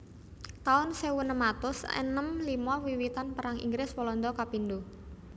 taun sewu enem atus enem limo Wiwitan Perang Inggris Walanda kapindho